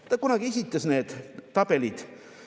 Ta kunagi esitas need tabelid.